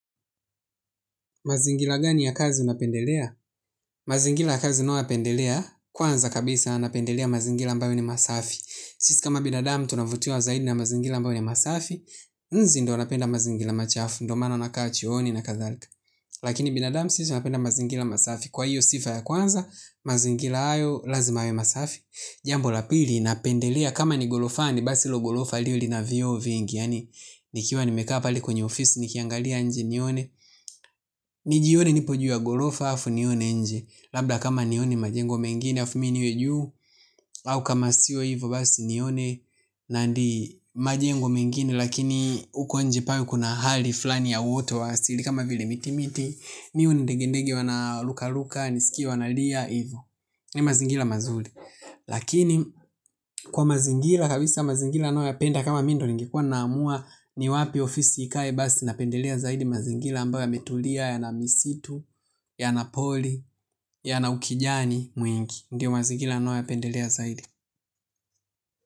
Mazingila gani ya kazi unapendelea? Mazingila ya kazi nayoyapendelea, kwanza kabisa napendelea mazingila ambayo ni masafi. Sisi kama binadamu tunavutiwa zaidi na mazingila ambayo ni masafi, nzi ndo anapenda mazingila machafu, ndo maana anakaa chooni na kathalika. Lakini binadamu sisi tunapenda mazingila masafi. Kwa hiyo sifa ya kwanza, mazingila ayo lazima yawe masafi. Jambo la pili, napendelea kama ni golofani, basilo golofa liwe lina vioo vingi yaani. Nikiwa nimekaa pale kwenye ofisi, nikiangalia nje nione. Nijione nipo juu ya golofa afu nione nje. Labda kama nione majengo mengine afu mi niwe juu. Au kama sio hivo basi nione Nandi majengo mengine lakini uko nje pawe kuna hali flani ya uwote wa asili. Kama vile miti miti nione ndege ndege wana luka luka nisikie wana lia hivo. Ni mazingila mazuli. Lakini kwa mazingila kabisa mazingila anayoyapenda kama mi ndo ningekuwa naamua ni wapi ofisi ikae basi napendelea zaidi mazingila ambayo yametulia, yana misitu, ya na poli, ya na ukijani mwingi. Ndiyo mazikila nayo ya pendelea zaidi.